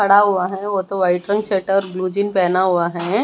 खड़ा हुआ है वो तो व्हाइट रंग शर्ट और ब्लू जींस पहना हुआ है।